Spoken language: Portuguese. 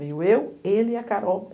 Veio eu, ele e a Carol.